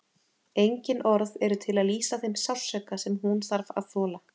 Engin orð eru til að lýsa þeim sársauka sem hún þarf að þola.